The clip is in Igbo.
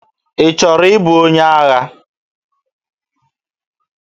Ị chọrọ ịbụ onye agha?